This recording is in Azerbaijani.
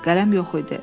Qələm yox idi.